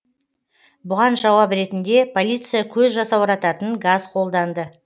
бұған жауап ретінде полиция көз жасаурататын газ қолданды